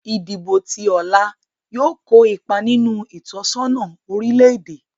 Ìdìbò ti ọ̀la yóò kó ipa nínú ìtọ́sọ́nà orílè-èdè